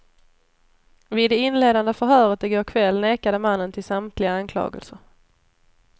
Vid det inledande förhöret i går kväll nekade mannen till samtliga anklagelser.